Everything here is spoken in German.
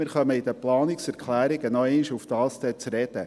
Wir kommen bei den Planungserklärungen nochmals darauf zu sprechen.